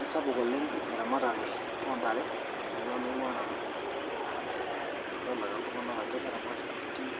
Aisapuk oleng eramatare oo ntare temurua nainguaa nanu aa idol ake iltunganaka ajo keramata ntokitin